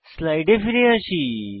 স্লাইডে ফিরে যাই